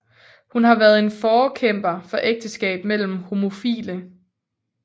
Hun har vært en forkæmper for ægteskab mellem homofile